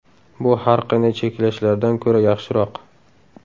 Bu har qanday cheklashlardan ko‘ra yaxshiroq.